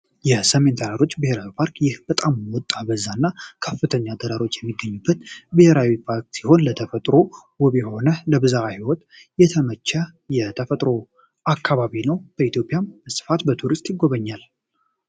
የሰሜን ተራሮች ብሄራዊ ፓርክ ይህ በጣም ወጣ በዛ እና ከፍተኛ ተራሮች የሚገኙበት ብሔራዊ ፓርክ ሲሆን፤ ለተፈጥሮ ውብ የሆነ ለብዝሃ ሕይወት የተመቸ የተፈጥሮ አካባቢ ነው። በኢትዮጵያም ስፋት በቱሪስት ይጎበኛል።